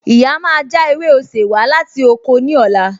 Ìyá máa já ewé osè wá láti oko ní ọ̀la